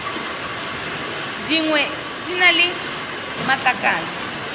dingwe di na le matlakala